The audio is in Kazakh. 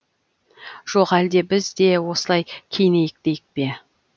жоқ әлде біз де осылай киінейік дейік пе